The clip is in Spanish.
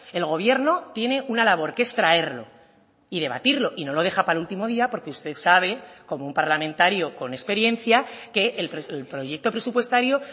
el gobierno tiene una labor que es traerlo y debatirlo y no lo deja para el último día porque usted sabe como un parlamentario con experiencia que el proyecto presupuestario